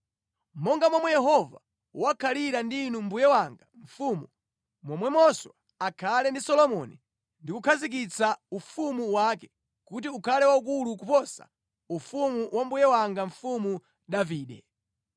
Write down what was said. Monga momwe Yehova wakhalira ndi inu mbuye wanga mfumu, momwemonso akhale ndi Solomoni ndi kukhazikitsa ufumu wake kuti ukhale waukulu kuposa ufumu wa mbuye wanga Mfumu Davide!”